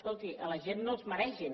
escolti a la gent no els maregin